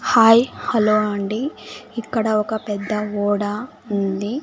Hi hello అండి ఇక్కడ ఒక పెద్ద ఓడ ఉంది.